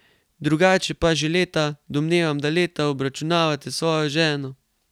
Drugače pa že leta, domnevam, da leta, obračunavate s svojo ženo.